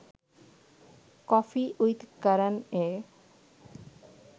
'coffee with Karan A